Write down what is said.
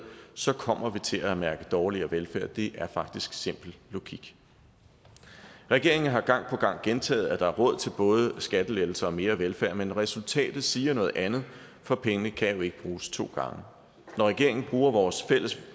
så kommer vi til at mærke dårligere velfærd det er faktisk simpel logik regeringen har gang på gang gentaget at der er råd til både skattelettelser og mere velfærd men resultatet siger noget andet for pengene kan jo ikke bruges to gange når regeringen bruger vores fælles